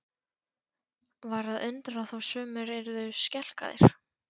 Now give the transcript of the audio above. Var að undra þó sumir yrðu skelkaðir?